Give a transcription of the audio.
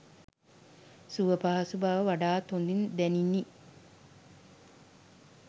සුවපහසු බව වඩාත් හොඳින් දැනිණි